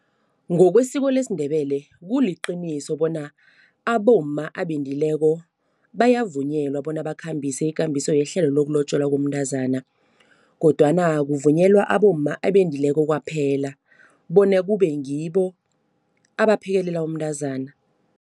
Ngokwesiko lesiNdebele, kuliqiniso bona abomma abendileko bayavunyelwa bona bakhambise ikambiso yehlelo lokulotjolwa komntazana. Kodwana kuvunyelwa abomma abendileko kwaphela bona kube ngibo abaphekelela umntazana.